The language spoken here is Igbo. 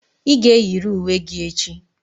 Ị ga-eyiri uwe gị echi!